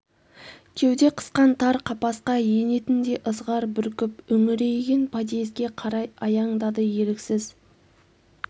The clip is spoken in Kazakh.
кеуде қысқан тар қапасқа енетіндей ызғар бүркіп үңірейген подъезге қарай аяңдады еріксіз